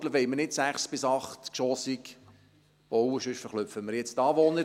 In Burgdorf wollen wir nicht sechs- bis achtgeschossig bauen, sonst erschrecken wir jetzt die Anwohner.